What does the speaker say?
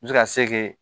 N bɛ se ka se kɛ